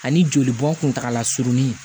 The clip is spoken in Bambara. Ani jolibɔn kuntagala surunni